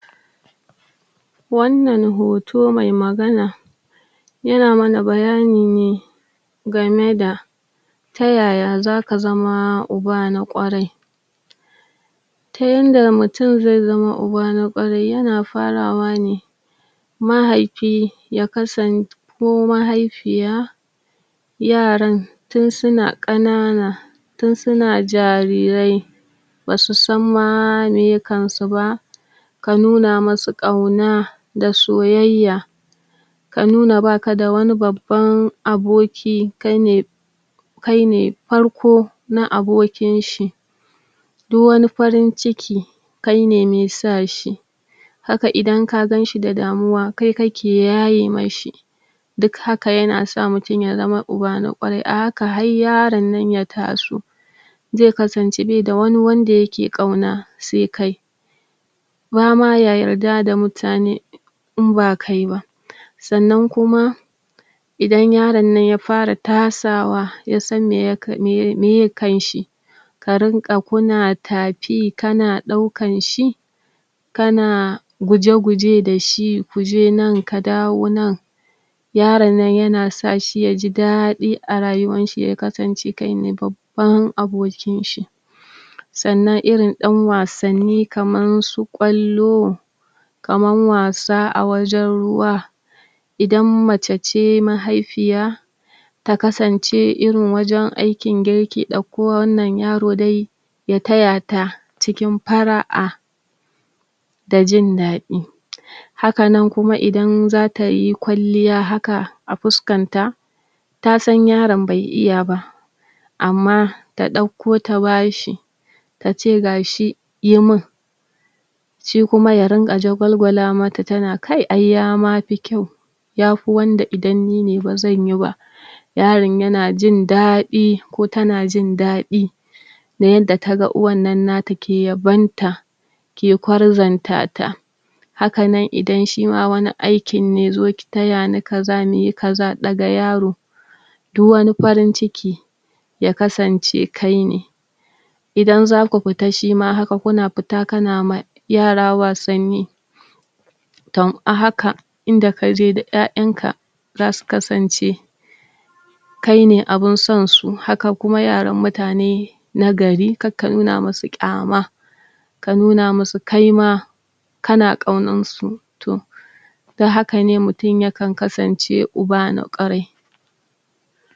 wannan hoto mai magana yana mana bayani ne game da ta yaya zaka zama uba na ƙwarai ta yanda mutum zai zama uba na ƙwarai yana farawa ne mahaifi ya kasant ko mahaifiya yaran tun suna ƙanana tun suna jarirai basu san ma meye kansu ba ka nuna masu ƙauna da soyayya ka nuna baka da wani babban aboki, kaine kaine farko na abokin shi du wani farin ciki kaine mai sa shi haka idan ka ganshi da damuwa, kai ka ke yaye mai shi duk haka yana sa mutum ya zama uba na ƙwarai.A haka har yaron nan ya taso zai kasance be da wani wanda yake ƙauna sai kai bama ya yarda da mutane in ba kai ba sannan kuma idan yaron nan ya fara tasawa, yasan meya k? me meye kanshi ka rinƙa kuna tafi, kana ɗaukan shi kana guje-guje dashi, kuje nan, ka dawo nan yaron nan yana sa shi yaji daɗi,a rayuwan shi ya kasance kaine babban abokin shi sannan irin ɗan wasanni kaman su ƙwallo kaman wasa a wajen ruwa idan macece mahaifiya ta kasance irin wajen aikin girki ɗauko wannan yaro dai ya taya ta cikin fara'a da jin daɗi hakanan kuma idan zatayi kwalliya haka,a fuskan ta ta san yaron bai iya ba amma ta ɗauko ta bashi tace gashi, yi min shi kuma ya rinƙa jagwalgwala mata tana kai ai ya mafi kyau yafi wanda idan nine bazanyi ba yaron yana jin daɗi ko tana jin daɗi na yanda ta ga uwannan nata ke yabon ta ke kwarzonta ta hakanan idan shima wani aikin ne, zo ki tayani kaza, muyi kaza, ɗaga yaro du wani farin ciki ya kasance kaine idan zaku fita shima haka.kuna fita kana ma yara wasanni tom a haka inda kaje da ƴaƴanka zasu kasance kaine abin son su, haka kuma yaran mutane na gari, kar ka nuna musu ƙyama ka nuna musu kaima kana ƙaunansu, to da hakane mutum ya kan kasance uba na ƙwarai